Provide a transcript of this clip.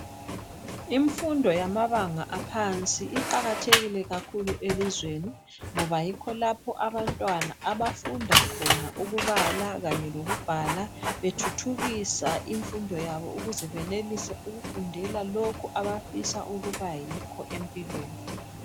Imfundo yamabanga aphansi iqakathekile kakhulu elizweni, ngoba yikho lapho abantwana abafunda khona ukubala kanye lokubhala. Bethuthukisa imfundo yabo ukuze benelise ukufundela lokho abafisa ukuba yikho empilweni.